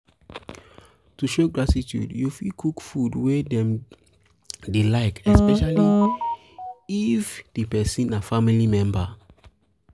to show gratitude you fit cook food wey dem dey like especially if especially if di person na family member